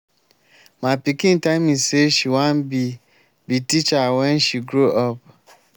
my pikin tell me say she wan be be teacher wen she grow up